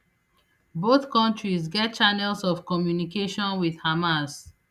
both kontris get channels of communication wit hamas